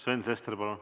Sven Sester, palun!